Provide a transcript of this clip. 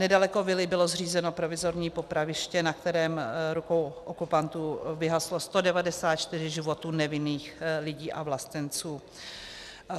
Nedaleko vily bylo zřízeno provizorní popraviště, na kterém rukou okupantů vyhaslo 194 životů nevinných lidí a vlastenců.